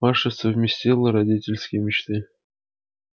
маша совместила родительские мечты